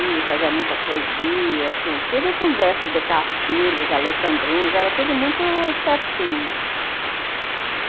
E fazia muita poesia, tudo com versos decassílabos, Alexandrinos, era tudo muito certinho, uhum.